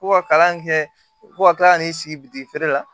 Ko ka kalan kɛ fo ka kila ka n'i sigi bitifeere la